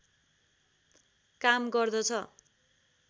काम गर्दछ